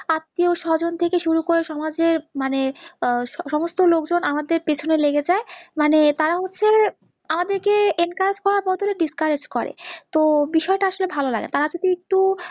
আত্তীয় স্বজন থেকে শুরু করে সমাজের মানে সমস্ত লোকজন আমাদের পেছনে লেগে যাই, মানে তাড়া হচ্ছে আমাদের কে encourage করার বদলে discourage করে, তো বিষয় টা আসলে ভাল লাগে, তারা যদি একটু